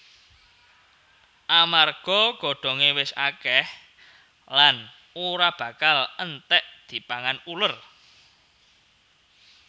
Amarga godhongé wis akèh lan ora bakal entèk dipangan uler